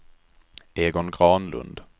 Egon Granlund